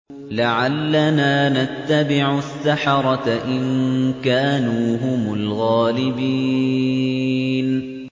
لَعَلَّنَا نَتَّبِعُ السَّحَرَةَ إِن كَانُوا هُمُ الْغَالِبِينَ